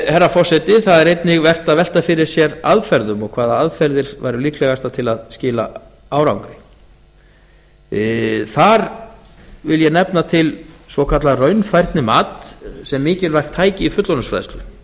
herra forseti það er eigi vert að velta fyrir sér aðferðum og hvaða aðferðir væru líklegastar til að skila árangri þar vil ég nefna til svokallað raunfærnimat sem er mikilvægt tæki í fullorðinsfræðslu